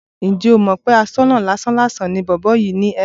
Ǹjẹ́ o mọ̀ pé aṣọ́nà lásán-làsàn ni bọ̀bọ́ yìí ni Evans?